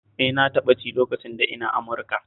Eh na taɓa ci lokacin da ina Amurika